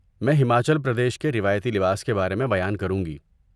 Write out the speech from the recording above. میں ہماچل پردیش کے روایتی لباس کے بارے میں بیان کروں گی۔